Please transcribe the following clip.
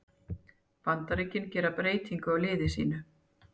Bandaríkin gera breytingu á liði sínu